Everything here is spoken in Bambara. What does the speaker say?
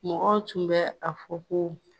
Mɔgɔ tun bɛ a fɔ ko